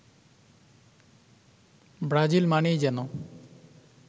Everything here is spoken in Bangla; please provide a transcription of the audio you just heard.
ব্রাজিল মানেই যেন